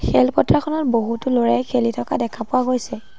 খেলপথাৰখনত বহুতো ল'ৰাই খেলি থকা দেখা পোৱা গৈছে।